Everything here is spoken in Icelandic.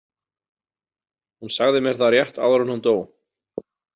Hún sagði mér það rétt áður en hún dó.